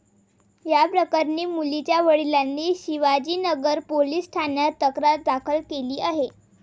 या प्रकरणी मुलीच्या वडिलांनी शिवाजीनगर पोलीस ठाण्यात तक्रार दाखल केली आहे.